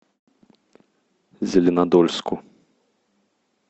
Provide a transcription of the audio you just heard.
зеленодольску